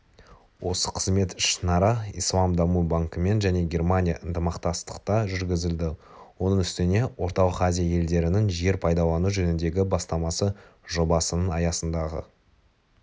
осы қызмет ішінара ислам даму банкімен және германия ынтымақтастықта жүргізілді оның үстіне орталық азия елдерінің жер пайдалану жөніндегі бастамасы жобасының аясындағы